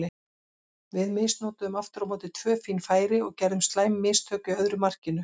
Við misnotuðum aftur á móti tvö fín færi og gerðum slæm mistök í öðru markinu.